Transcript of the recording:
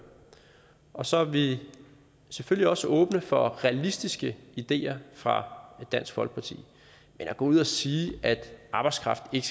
og så er vi selvfølgelig også åbne for realistiske ideer fra dansk folkeparti men at gå ud og sige at arbejdskraft ikke